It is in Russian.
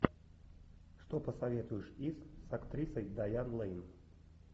что посоветуешь из с актрисой дайан лейн